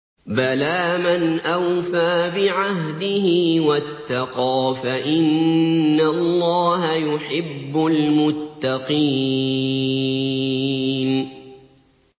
بَلَىٰ مَنْ أَوْفَىٰ بِعَهْدِهِ وَاتَّقَىٰ فَإِنَّ اللَّهَ يُحِبُّ الْمُتَّقِينَ